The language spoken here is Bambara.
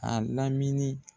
A lamini